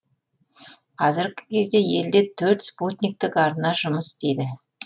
қазіргі кезде елде төрт спутниктік арна жұмыс істейді